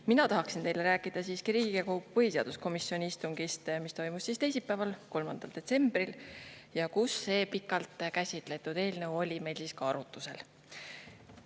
Mina tahaksin teile rääkida siiski Riigikogu põhiseaduskomisjoni istungist, mis toimus teisipäeval, 3. detsembril ja kus see pikalt käsitletud eelnõu oli meil arutusel.